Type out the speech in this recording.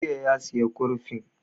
Jiya ya saya kurfin